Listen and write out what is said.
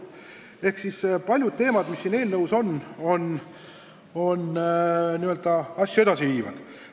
Ehk siis paljud teemad, mis siin eelnõus on, on n-ö edasiviivad.